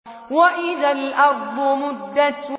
وَإِذَا الْأَرْضُ مُدَّتْ